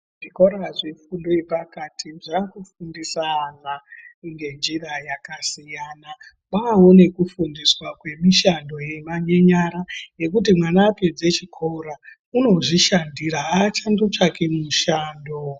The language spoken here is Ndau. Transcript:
Zvikora zvefundo yepakati zvakufundise ana ngenjira yakasiyana kwawawo nekufundiswa kwemishando yenyara yekuti kana mwana apedze chikora unozvishandira achandotsvaki mushando